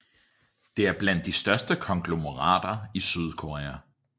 Det er blandt de største konglomerater i Sydkorea